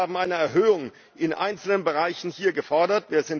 Wir haben hier Erhöhungen in einzelnen Bereichen gefordert.